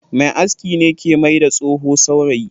Mai aski ne ke mai da tsoho saurayi.